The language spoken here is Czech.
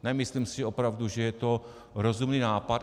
Nemyslím si opravdu, že je to rozumný nápad.